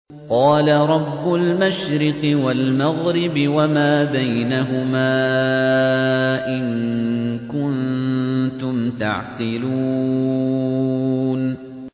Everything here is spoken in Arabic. قَالَ رَبُّ الْمَشْرِقِ وَالْمَغْرِبِ وَمَا بَيْنَهُمَا ۖ إِن كُنتُمْ تَعْقِلُونَ